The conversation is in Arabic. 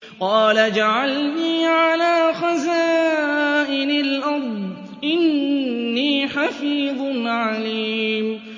قَالَ اجْعَلْنِي عَلَىٰ خَزَائِنِ الْأَرْضِ ۖ إِنِّي حَفِيظٌ عَلِيمٌ